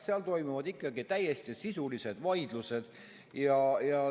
Seal toimuvad ikka täiesti sisulised vaidlused.